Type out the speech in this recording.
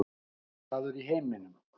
Besti staður í heiminum